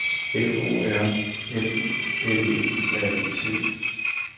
F O R M U L E R E T